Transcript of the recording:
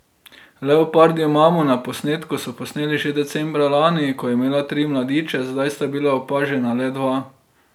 Leopardjo mamo na posnetku so posneli že decembra lani, ko je imela tri mladiče, zdaj sta bila opažena le dva.